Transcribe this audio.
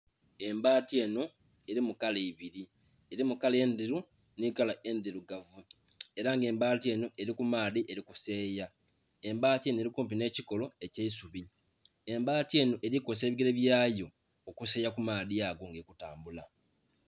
Embaati eno erimu kala ibiri, erimu kala endheru, nikala endhirugavu era nga embaati eno eri kumaadhi eri kuseyeya. Embaati eno eri kumpi n'ekikolo ekyeisubi, embaati eno eri kozesa ebigere byayo okuseyeya kumaadhi ago nga eri kutambula.